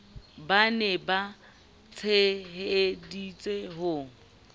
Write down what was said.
ba ne ba tsheheditse ho